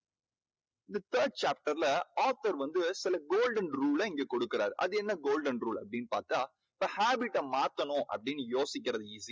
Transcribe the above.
இந்த third chapter ல author வந்து சில golden rule ல இங்கே கொடுக்குறார். அது என்ன golden rule அப்படீன்னு பார்த்தா இந்த habit ட மாத்தணும் அப்படீன்னு யோசிக்கறது easy